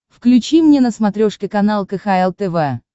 включи мне на смотрешке канал кхл тв